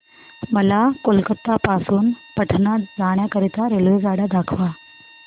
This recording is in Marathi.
मला कोलकता पासून पटणा जाण्या करीता रेल्वेगाड्या दाखवा